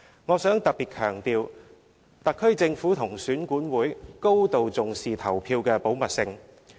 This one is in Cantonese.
我想特別強調，特區政府及選管會高度重視投票的保密性。